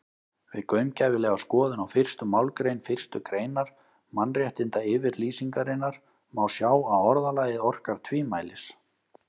Við gaumgæfilega skoðun á fyrstu málsgrein fyrstu greinar Mannréttindayfirlýsingarinnar má sjá að orðalagið orkar tvímælis.